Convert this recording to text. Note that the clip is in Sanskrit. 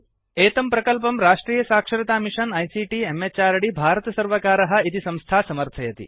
एतं प्रकल्पं राष्ट्रीय साक्षरता मिषन् आईसीटी म्हृद् भारतसर्वकारः इति संस्था समर्थयति